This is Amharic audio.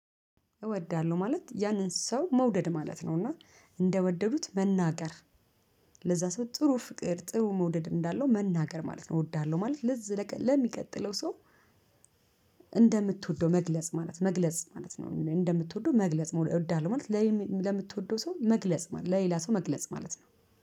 እወዳለሁ ማለት ያንን ሰው መውደድ ማለት ነው እና እንደወደዱት መናገር ለዛ ሰው ጥሩ ፍቅር ጥሩ መውደድ እንዳለው መናገር ማለት ነው። እወዳለሁ ማለት ለዚህ ለሚቀጥለው ሰው። እንደምትወደው መግለጽ ማለት መግለጽ ማለት ነው። እንደምትወደው መግለጽ እወዳለሁ ማለት ለምትወደው ሰው መግለጽ ማለት ለሌላ ሰው መግለጽ ማለት ነው